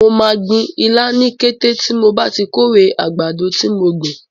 Mo máa gbin ilá ní kété tí mo bá ti kórè àgbàdo tí mo gbìn.